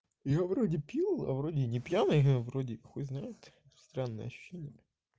я вроде пил а вроде не пьяный вроде хуй знает странное ощущение